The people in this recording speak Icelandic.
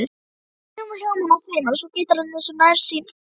Kringum hljómana sveimar svo gítarinn eins og nærsýnn fugl.